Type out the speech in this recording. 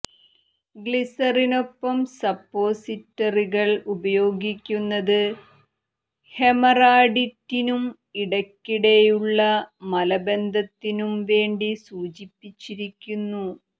ഗ്ലിസറിനൊപ്പം സപ്പോസിറ്ററികൾ ഉപയോഗിക്കുന്നത് ഹെമറാഡിറ്റിനും ഇടക്കിടെയുള്ള മലബന്ധത്തിനും വേണ്ടി സൂചിപ്പിച്ചിരിക്കുന്നു